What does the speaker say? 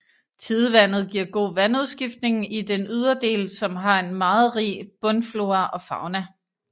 Tidevandet giver god vandudskiftning i den ydre del som har en meget rig bundflora og fauna